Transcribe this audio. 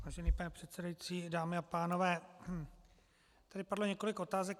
Vážený pane předsedající, dámy a pánové, tady padlo několik otázek.